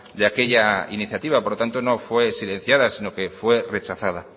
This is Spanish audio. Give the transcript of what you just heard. de aquella iniciativa por lo tanto no fue silenciada sino que fue rechazada